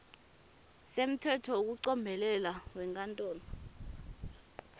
semtsetfo wekucombelela wenkantolo